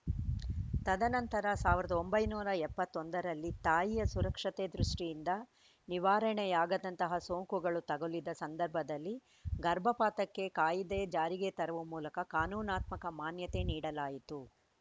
ತದನಂತರ ಸಾವಿರದ ಒಂಬೈನೂರ ಎಪ್ಪತ್ತ್ ಒಂದರಲ್ಲಿ ತಾಯಿಯ ಸುರಕ್ಷತೆ ದೃಷ್ಟಿಯಿಂದ ನಿವಾರಣೆಯಾಗದಂತಹ ಸೋಂಕುಗಳು ತಗುಲಿದ ಸಂದರ್ಭದಲ್ಲಿ ಗರ್ಭಪಾತಕ್ಕೆ ಕಾಯಿದೆ ಜಾರಿಗೆ ತರುವ ಮೂಲಕ ಕಾನೂನಾತ್ಮಕ ಮಾನ್ಯತೆ ನೀಡಲಾಯಿತು